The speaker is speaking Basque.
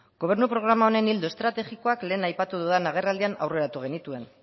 gobernu programa honen ildo estrategikoak lehen aipatu dudan agerraldian aurreratu genituen